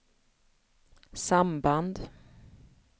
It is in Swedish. samband